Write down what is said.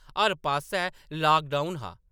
हर पास्सै लाकडाउन हा ।